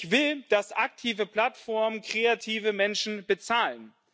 Ich will, dass aktive Plattformen kreative Menschen bezahlen.